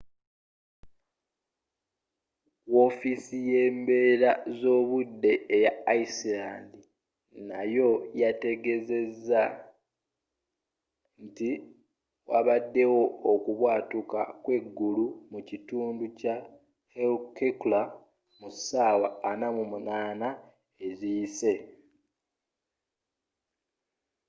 wofiisi yembeera zobudde eya iceland nayo yategezeza nti wabaddewo okubwatuka kweggulu mu kitundu kya hekla mu ssaawa 48 eziyise